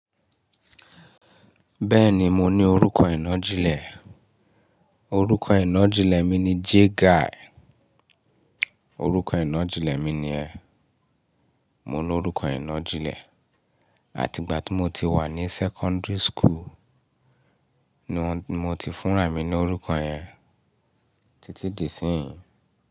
Bẹ́ẹ̀ni mo ní orúkọ ìnájilẹ̀, orúkọ ìnájilẹ̀ mi ni Jguy. Orúkọ ìnájilẹ̀ mi ni ẹ́. Mo ní orúkọ ìnájilẹ̀, àti ìgbà tí mo ti wà ní sẹ́kọ́ńdìrì school ni mo ti fúnra ì mi ní orúkọ yẹn títí di síyìn.